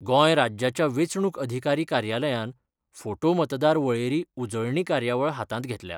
गोंय राज्याच्या वेचणूक अधीकारी कार्यालयान, फोटो मतदार वळेरी उजळणी कार्यावळ हातांत घेतल्या.